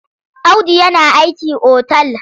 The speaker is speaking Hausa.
Audu yana aiki otal.